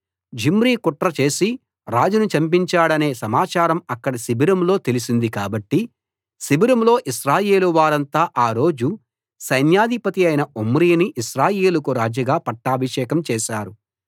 Zimri కుట్ర చేసి రాజును చంపించాడనే సమాచారం అక్కడ శిబిరంలో తెలిసింది కాబట్టి శిబిరంలో ఇశ్రాయేలు వారంతా ఆ రోజు సైన్యాధిపతియైన ఒమ్రీని ఇశ్రాయేలుకు రాజుగా పట్టాభిషేకం చేశారు